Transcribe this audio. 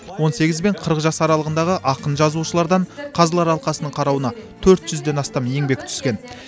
он сегіз бен қырық жас аралығындағы ақын жазушылардан қазылар алқасының қарауына төрт жүзден астам еңбек түскен